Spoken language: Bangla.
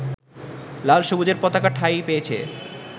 লাল-সবুজের পতাকা ঠাঁই পেয়েছে